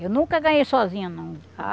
Eu nunca ganhei sozinha, não.